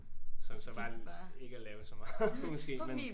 Som så bare er ikke at lave så meget måske men